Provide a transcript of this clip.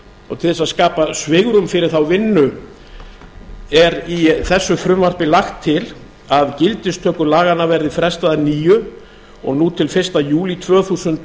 og til þess að skapa svigrúm fyrir þá vinnu er í þessu frumvarpi lagt til að gildistöku laganna verði frestað að nýju og nú til fyrsta júlí tvö þúsund